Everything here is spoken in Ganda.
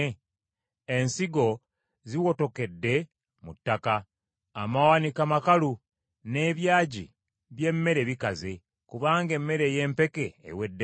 Ensigo ziwotokedde mu ttaka, amawanika makalu n’ebyagi by’emmere bikaze, kubanga emmere ey’empeke eweddewo.